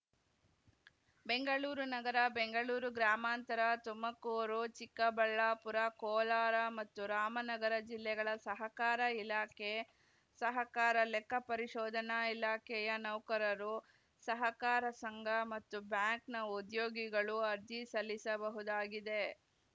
ಬೆಂಗಳೂರು ನಗರ ಬೆಂಗಳೂರು ಗ್ರಾಮಾಂತರ ತುಮಕೂರು ಚಿಕ್ಕಬಳ್ಳಾಪುರ ಕೋಲಾರ ಮತ್ತು ರಾಮನಗರ ಜಿಲ್ಲೆಗಳ ಸಹಕಾರ ಇಲಾಖೆ ಸಹಕಾರ ಲೆಕ್ಕ ಪರಿಶೋಧನಾ ಇಲಾಖೆಯ ನೌಕರರು ಸಹಕಾರ ಸಂಘ ಮತ್ತು ಬ್ಯಾಂಕ್‌ನ ಉದ್ಯೋಗಿಗಳು ಅರ್ಜಿ ಸಲ್ಲಿಸಬಹುದಾಗಿದೆ